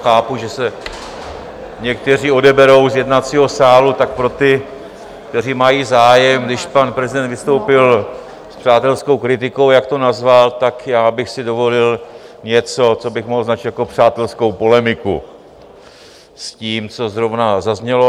Chápu, že se někteří odeberou z jednacího sálu, tak pro ty, kteří mají zájem, když pan prezident vystoupil s přátelskou kritikou, jak to nazval, tak já bych si dovolil něco, co bych mohl označit jako přátelskou polemiku s tím, co zrovna zaznělo.